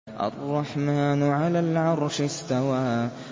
الرَّحْمَٰنُ عَلَى الْعَرْشِ اسْتَوَىٰ